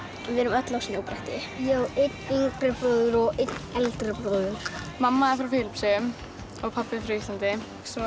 við erum öll á snjóbretti ég á einn yngri bróður og einn eldri bróður mamma er frá Filippseyjum og pabbi frá Íslandi